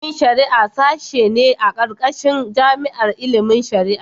Ilimin shari'a sashe ne a ƙarƙashin jami'ar ilimin shari'a.